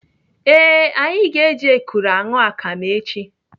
Ee, anyị ga-eji ekuru aṅụ akam echi.